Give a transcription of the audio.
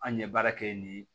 An ye baara kɛ yen nin